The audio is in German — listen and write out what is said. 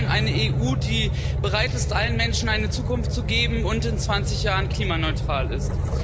Wir wollen eine EU, die bereit ist, allen Menschen eine Zukunft zu geben und in 20 Jahren klimaneutral ist.